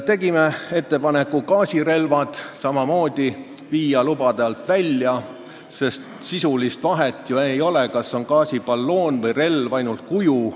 Tegime ettepaneku viia gaasirelvad samamoodi lubade alt välja, sest sisulist vahet ju ei ole, kas see on gaasiballoon või -relv, erinev on ainult kuju.